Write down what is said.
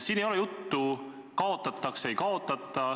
" Siin ei ole juttu, kas sammas kaotatakse või ei kaotata.